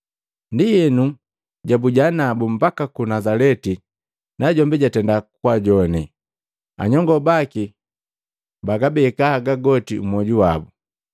Ndienu jabuja nabu mbaka ku Nazaleti najombi jatenda kwaajowane. Anyongo baki bagabeka haga goti mmwoju wabu.